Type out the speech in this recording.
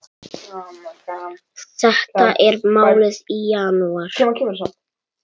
Þetta er málið í janúar.